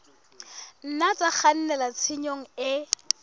nna tsa kgannela tshenyong e